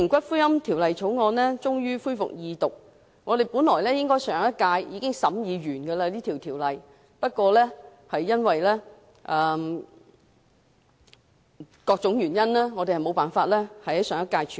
今天終於恢復二讀的《條例草案》，本應在上屆立法會會期內已完成審議工作，但由於各種原因無法在上屆處理。